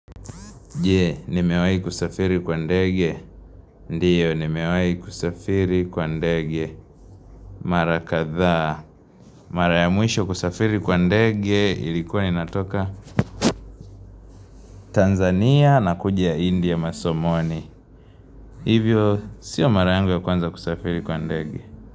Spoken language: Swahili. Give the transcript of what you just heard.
Jee, nimewayi kusafiri kwa ndege. Ndiyo, nimewayi kusafiri kwa ndege. Mara katha. Mara ya mwisho kusafiri kwa ndege ilikuwa ni natoka Tanzania na kuja India masomoni. Hivyo, siyo mara ya kwanza kusafiri kwa ndege.